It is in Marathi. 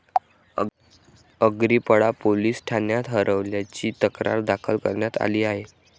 अग्रीपडा पोलीस ठाण्यात हरवल्याची तक्रार दाखल करण्यात आली आहे.